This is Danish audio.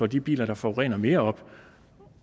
de biler der forurener mere op